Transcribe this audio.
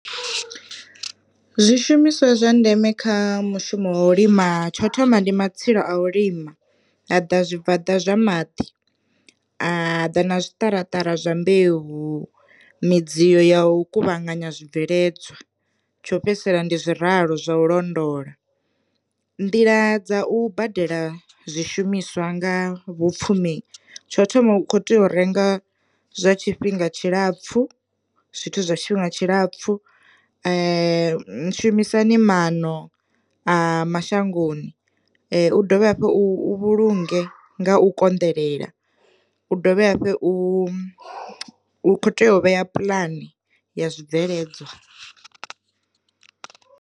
Zwi shumiswa zwa ndeme kha mushumo wa u lima tsho thoma ndi matsilu a u lima, ha ḓa zwi bvaḓa zwa maḓi, a ḓa na zwi ṱaraṱara zwa mbeu midziyo ya u kuvhanganya zwi bveledzwa, tsho fhedzisela ndi zwi ralo zwa u londola. Nḓila dza u badela zwi shumiswa nga vhu pfumbi tsho thoma u kho tea u renga zwa tshifhinga tshilapfhu zwithu zwa tshifhinga tshilapfu, shumisani mano a mashangoni, u dovhe hafhu u vhulunge nga u konḓelela, u dovhe hafhu u kho tea u vhea puḽani ya zwibveledzwa.